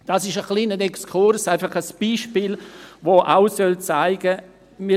Dies ist ein kleiner Exkurs, ein Beispiel, das auch zeigen soll: